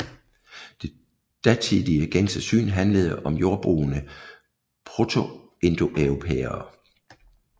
Det datidige gængse syn handlede om jordbrugende protoindoeuropæere